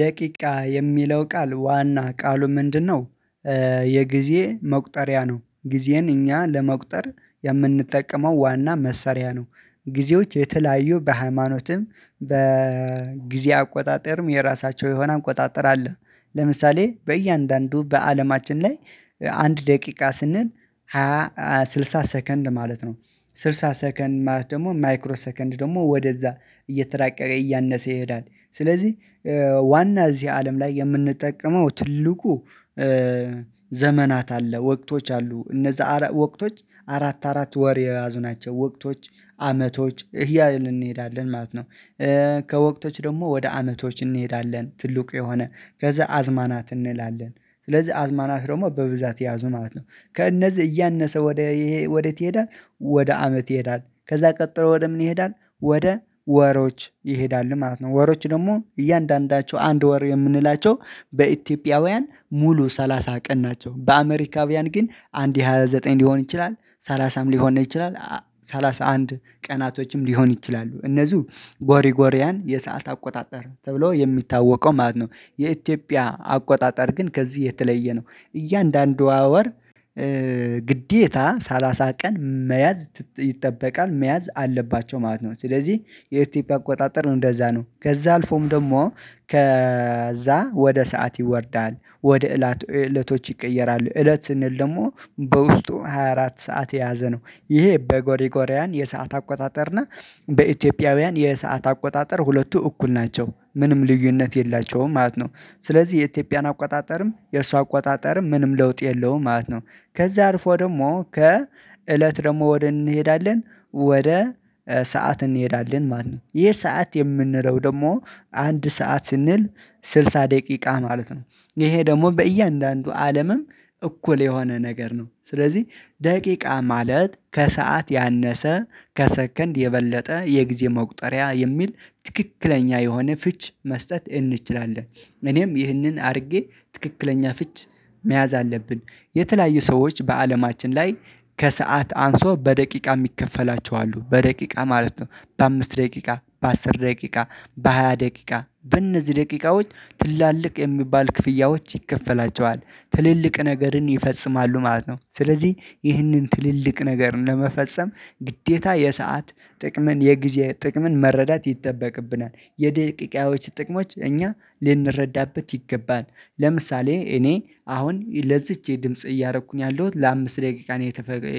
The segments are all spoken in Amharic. ደቂቃ የሚለው ቃል ዋና ቃሉ ምንድነው? የጊዜ መቁጠሪያ ነው ጊዜን እኛ ለመቁጠር የምንጠቀመው ዋና መሰሪያ ነው። ጊዜዎች የተለያዩ በሃይማኖትም በጊዜ አቆጣጠርም የራሳቸው የሆነ አቆጣጠር አለ። ለምሳሌ በእያንዳንዱ በአለማችን ላይ አንድ ደቂቃ ስንል ሃያ ስልሳ ሰከንድ ማለት ነው። ስልሳ ሰከንድ ደግሞ ማይክሮ ሰከንድ ደግሞ ወደዛ እየተራቀቀ እያነሰ ይሄዳል። ስለዚህ ዋና እዚህ አለም ላይ የምንጠቀመው ትልቁ ዘመናት አለ ወቅቶች አሉ። እነዛ ወቅቶች አራት አራት ወር የያዙ ናቸው ወቅቶች አመቶች እያልን እንሄዳለን ማለት ነው። ከወቅቶች ደግሞ ወደ አመቶች እንሄዳለን ትልቁ የሆነ ከዛ አዝማናት እንላለን ስለዚህ አዝማናት ደግሞ በብዛት የያዙ ማለት ነው። ከእነዚህ እያነሰ ወደ ይሄ ወዴት ይሄዳል? ወደ አመት ይሄዳል ከዛ ቀጥሮ ወደ ምን ይሄዳል? ወደ ወሮች ይሄዳል ማለት ነው። ወሮች ደግሞ እያንዳንዳቸው አንድ ወር የምንላቸው በኢትዮጵያውያን ሙሉ ሰላሳ ቀን ናቸው። በአሜሪካውያን ግን አንድ ሃያ ዘጠኝ ሊሆን ይችላል ሰላሳም ሊሆን ይችላል ሰላሳ አንድ ቀናቶችም ሊሆን ይችላሉ። እነዚህ ጎሪጎሪያን የሰዓት አቆጣጠር ተብሎ የሚታወቀው ማለት ነው። የኢትዮጵያ አቆጣጠር ግን ከዚህ የተለየ ነው። እያንዳንዱ ወር ግዴታ ሰላሳ ቀን መያዝ ይጠበቃል መያዝ አለባቸው ማለት ነው። ስለዚህ የኢትዮጵያ አቆጣጠር ነው እንደዛ ነው ከዛ አልፎም ደግሞ ከዛ ወደ ሰዓት ይወርዳል ወደ እለት እለቶች ይቀየራሉ እለት ስንል ደግሞ በውስጡ ሃያ አራት ሰዓት የያዘ ነው። ይሄ በጎሪጎሪያን የሰዓት አቆጣጠር እና በኢትዮጵያውያን የሰዓት አቆጣጠር ሁለቱ እኩል ናቸው። ምንም ልዩነት የላቸውም ማለት ነው። ስለዚህ የኢትዮጵያን አቆጣጠርም የእርሷ አቆጣጠርም ምንም ለውጥ የለውም ማለት ነው። ከዛ አልፎ ደግሞ ከ እለት ደግሞ ወደ እንሄዳለን ወደ ሰዓት እንሄዳለን ማንም ይሄ ሰዓት የምንለው ደግሞ አንድ ሰዓት ስንል ስልሳ ደቂቃ ማለት ነው። ይሄ ደግሞ በእያንዳንዱ አለምም እኩል የሆነ ነገር ነው። ስለዚህ ደቂቃ ማለት ከሰአት ያነሰ ከሰከንድ የበለጠ የጊዜ መቁጠሪያ የሚል ትክክለኛ የሆነ ፍች መስጠት እንችላለን። እኔም ይህንን አድርጌ ትክክለኛ ፍች መያዝ አለብን። የተለያዩ ሰዎች በአለማችን ላይ ከሰአት አንሶ በደቂቃ የሚከፈላቸው አሉ በደቂቃ ማለት ነው። በአምስት ደቂቃ በአስር ደቂቃ በሃያ ደቂቃ በእነዚህ ደቂቃዎች ትላልቅ የሚባል ክፍያዎች ይከፈላቸዋል። ትልልቅ ነገርን ይፈጽማሉ ማለት ነው ስለዚህ ይህንን ትልልቅ ነገር ለመፈጸም ግዴታ የሰዓት ጥቅምን የጊዜ ጥቅምን መረዳት ይጠበቅብናል። የደቂቃዎች ጥቅሞች እኛ ልንረዳበት ይገባል። ለምሳሌ እኔ አሁን ለዚች የድምጽ እያደረኩኝ ያለሁት ለአምስት ደቂቃ ነው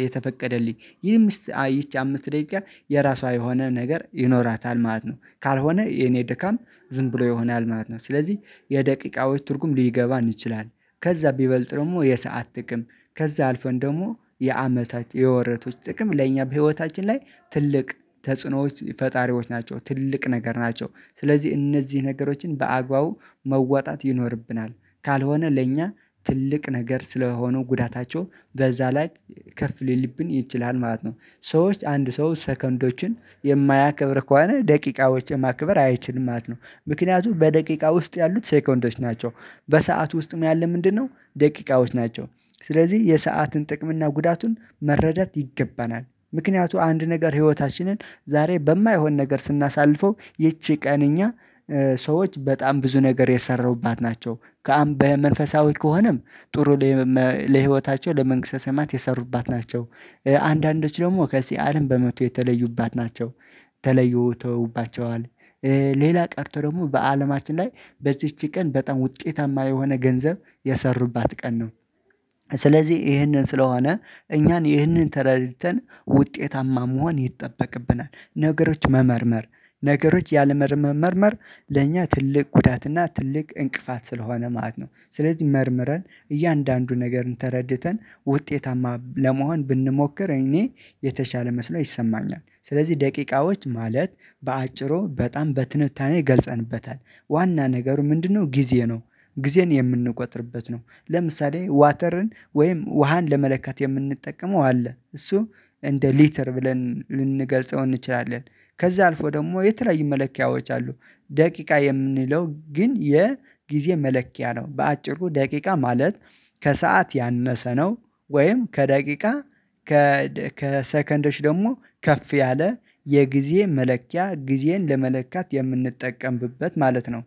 የተፈቀደልኝ ይሄ ይቺ አምስት ደቂቃ የራሷ የሆነ ነገር ይኖራታል ማለት ነው። ካልሆነ የኔ ደካም ዝም ብሎ የሆነ አልማት ነው። ስለዚህ የደቂቃዎች ትርጉም ሊገባ እንችላለን። ከዛ ቢበልጥ ደግሞ የሰዓት ጥቅም ከዛ አልፈን ደግሞ የአመታት የወረቶች ጥቅም ለእኛ በህይወታችን ላይ ትልቅ ተጽዕኖዎች ፈጣሪዎች ናቸው። ትልቅ ነገር ናቸው ስለዚህ እነዚህ ነገሮችን በአግባቡ መዋጣት ይኖርብናል። ካልሆነ ለእኛ ትልቅ ነገር ስለሆኑ ጉዳታቸው በዛ ላይ ከፍ ሊልብን ይችላል ማለት ነው። ሰዎች አንድ ሰው ሰከንዶችን የማያከብር ከሆነ ደቂቃዎችን ማክበር አይችልም ማለት ነው። ምክንያቱም በደቂቃ ውስጥ ያሉት ሰከንዶች ናቸው። በሰአት ውስጥ ያለ ምንድነው? ደቂቃዎች ናቸው። ስለዚህ የሰአትን ጥቅም እና ጉዳቱን መረዳት ይገባናል። ምክንያቱ አንድ ነገር ህይወታችንን ዛሬ በማይሆን ነገር ስናሳልፈው ይቺ ቀን እኛ ሰዎች በጣም ብዙ ነገር የሰራሁባት ናቸው። ከአምባዬ መንፈሳዊ ከሆነም ጥሩ ለህይወታቸው ለመንግስተ ሰማዕት የሰሩባት ናቸው። አንዳንዶች ደግሞ ከዚህ አለም በሞት የተለዩባት ናቸው። ተለዩ ተውባቸዋል። ሌላ ቀርቶ ደግሞ በአለማችን ላይ በዚች ቀን በጣም ውጤታማ የሆነ ገንዘብ የሰሩባት ቀን ነው። ስለዚህ ይህንን ስለሆነ እኛን ይህንን ተረድተን ውጤታማ መሆን ይጠበቅብናል። ነገሮች መመርመር ነገሮች ያለመመርመር ለኛ ትልቅ ጉዳት እና ትልቅ እንቅፋት ስለሆነ ማለት ነው። ስለዚህ መርምረን እያንዳንዱን ነገር ተረድተን ውጤታማ ለመሆን ብንሞክር እኔ የተሻለ መስሎ ይሰማኛል። ስለዚህ ደቂቃዎች ማለት በአጭሩ በጣም በትንታኔ ገልፀንበታል። ዋና ነገሩ ምንድነው? ጊዜ ነው። ጊዜን የምንቆጥርበት ነው። ለምሳሌ ዋተርን ወይም ውሃን ለመለከት የምንጠቀመው አለ እሱ እንደ ሊትር ብለን ልንገልጸው እንችላለን። ከዛ አልፎ ደግሞ የተለያዩ መለኪያዎች አሉ። ደቂቃ የምንለው ግን የጊዜ መለኪያ ነው። በአጭሩ ደቂቃ ማለት ከሰአት ያነሰ ነው። ወይም ከደቂቃ ከሰከንዶች ደግሞ ከፍ ያለ የጊዜ መለኪያ ጊዜን ለመለካት የምንጠቀምብበት ማለት ነው